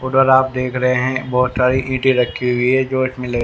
उधर आप देख रहे हैं बहोत सारी ईटे रखी हुई है जो इसमें ले--